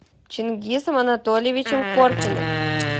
чингисом анатольевичем коркиным